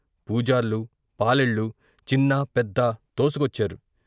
పూజార్లు, పాలేళ్ళు, చిన్నా పెద్దా తోసు కొచ్చారు.